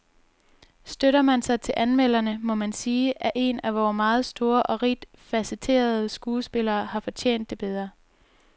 Støtter man sig til anmelderne, må man sige, at en af vore meget store og rigt facetterede skuespillere havde fortjent det bedre.